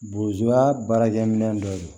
Bozoya baarakɛminɛn dɔ de don